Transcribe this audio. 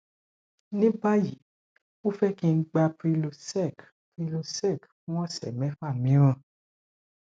ní báyìí ó fẹ kí n gba prylosec prylosec fún ọsẹ mẹfà míràn